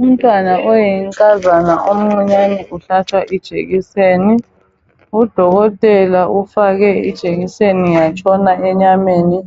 Umntwana oyinkazana omncinyane uhlatshwa ijekiseni, udokotela ufake ijekiseni yatshona enyameni